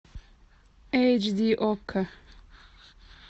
эйч ди окко